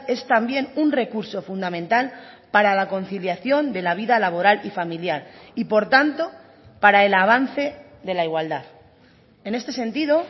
es también un recurso fundamental para la conciliación de la vida laboral y familiar y por tanto para el avance de la igualdad en este sentido